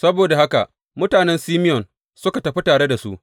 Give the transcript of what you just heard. Saboda haka mutanen Simeyon suka tafi tare da su.